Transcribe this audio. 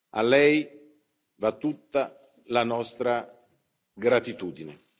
A lei va tutta la nostra gratitudine.